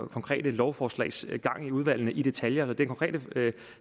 konkrete lovforslags gang i udvalgene i detaljer så den konkrete